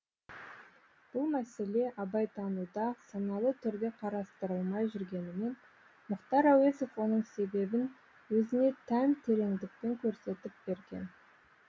бұл мәселе абайтануда саналы түрде қарастырылмай жүргенімен мұхтар әуезов оның себебін өзіне тән тереңдікпен көрсетіп берген